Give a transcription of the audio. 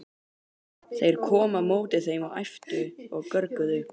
Þeir komu á móti þeim og æptu og görguðu.